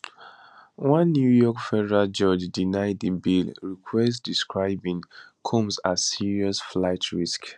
one new york federal judge deny di bail request describing combs as serious flight risk